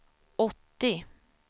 åttio